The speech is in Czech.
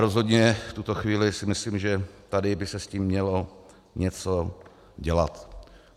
Rozhodně v tuto chvíli si myslím, že tady by se s tím mělo něco dělat.